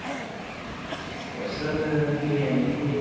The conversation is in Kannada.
Special ಬಿರಿಯಾನಿ. ನಿಂಗೆ?